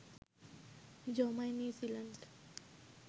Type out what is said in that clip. জমায় নিউজিল্যান্ড